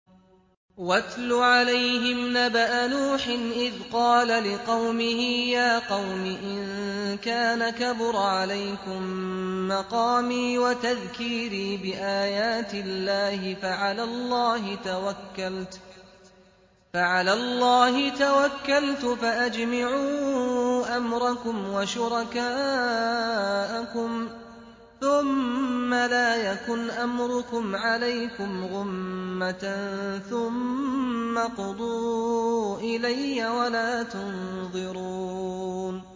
۞ وَاتْلُ عَلَيْهِمْ نَبَأَ نُوحٍ إِذْ قَالَ لِقَوْمِهِ يَا قَوْمِ إِن كَانَ كَبُرَ عَلَيْكُم مَّقَامِي وَتَذْكِيرِي بِآيَاتِ اللَّهِ فَعَلَى اللَّهِ تَوَكَّلْتُ فَأَجْمِعُوا أَمْرَكُمْ وَشُرَكَاءَكُمْ ثُمَّ لَا يَكُنْ أَمْرُكُمْ عَلَيْكُمْ غُمَّةً ثُمَّ اقْضُوا إِلَيَّ وَلَا تُنظِرُونِ